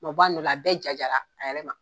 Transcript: U ma b'a nɔ la, a bɛɛ jajara, a yɛrɛ ma.